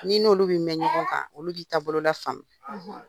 N'i ni olu bɛ mɛn ɲɔgɔn kan olu b'i taabolo la faamu.